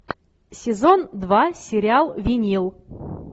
сезон два сериал винил